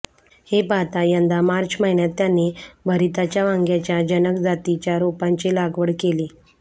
हे पाहता यंदा मार्च महिन्यात त्यांनी भरिताच्या वांग्याच्या जनक जातीच्या रोपांची लागवड केली